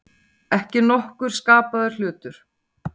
Ekki nokkur skapaður hlutur.